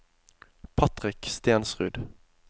Patrick Stensrud